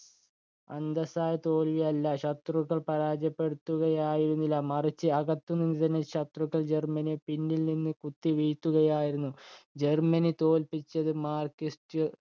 അന്തസ്സായ തോൽവിയല്ല. ശത്രുക്കൾ പരാജയപ്പെടുത്തുകയായിരുന്നില്ല മറിച്ച്, അകത്തുതന്നെയുള്ള ശത്രുക്കൾ ജർമനിയെ പിന്നിൽനിന്നു കുത്തിവീഴ്ത്തുകയായിരുന്നു. ജർമനിയെ തോല്പിച്ചത് marxist ഉകള്‍